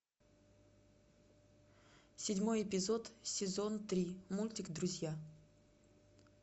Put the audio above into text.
седьмой эпизод сезон три мультик друзья